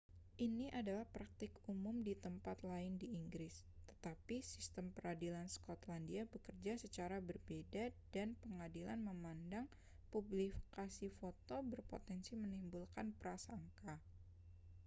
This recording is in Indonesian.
ini adalah praktik umum di tempat lain di inggris tetapi sistem peradilan skotlandia bekerja secara berbeda dan pengadilan memandang publikasi foto berpotensi menimbulkan prasangka